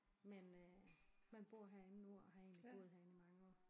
Men øh men bor herinde nu og har egentlig boet herinde i mange år